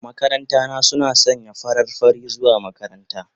Makaranta na suna sanye da farar fari zuwa makaranta.